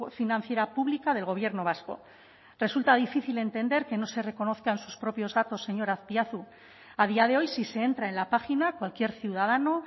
financiera pública del gobierno vasco resulta difícil entender que no se reconozcan sus propios datos señor azpiazu a día de hoy si se entra en la página cualquier ciudadano